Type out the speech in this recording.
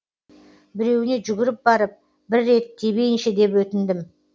біреуіне жүгіріп барып бір рет тебейінші деп өтіндім